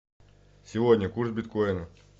сегодня курс биткоина